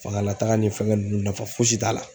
Fangalataga ni fɛn ninnu nafa fosi t'a la.